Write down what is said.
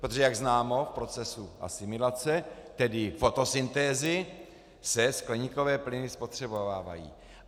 Protože jak známo, v procesu asimilace, tedy fotosyntézy, se skleníkové plyny spotřebovávají.